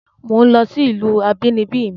Mò ń lọ sí ìlú abínibí mi